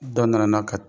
Dɔ nana n'a ka